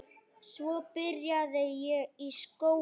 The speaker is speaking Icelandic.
Svo byrjaði ég í skóla.